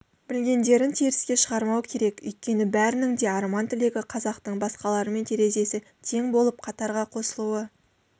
білгендерін теріске шығармау керек өйткені бәрінің де арман-тілегі қазақтың басқалармен терезесі тең болып қатарға қосылуы